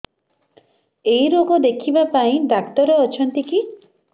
ଏଇ ରୋଗ ଦେଖିବା ପାଇଁ ଡ଼ାକ୍ତର ଅଛନ୍ତି କି